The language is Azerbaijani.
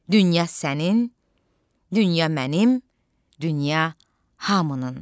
Dünya sənin, dünya mənim, dünya hamının.